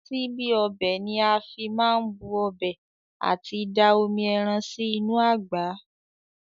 Síbí ọbẹ̀ ni a má fi n bu ọbẹ̀ àti da omi ẹran sí inú àgbá.